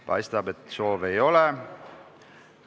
Paistab, et ei ole.